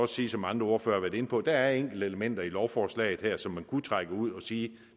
sige som andre ordførere har været inde på der er enkelte elementer i lovforslaget her som man kunne trække ud og sige